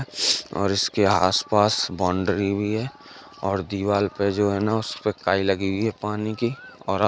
और इसके आसपास बाउंड्री भी है और दीवाल पे जाे है न उसपे काई लगी हुई है पानी की और --